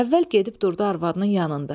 Əvvəl gedib durdu arvadının yanında.